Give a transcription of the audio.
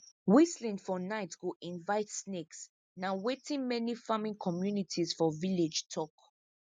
whistling for night go invite snakes na wetin many farming communities for village tok